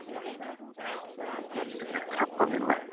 hvernig er krabbamein læknað